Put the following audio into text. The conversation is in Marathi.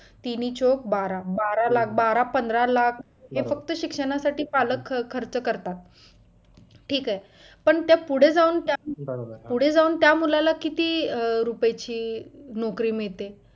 तिनी चौक बारा बारा लाख बारा-पंधरा लाख हे फक्त शिक्षणासाठी पालक खर्च करतात ठीक आहे पण त्या पुढे जाऊन पुढे जाऊन त्या मुलाला किती रुपयाची नोकरी मिळते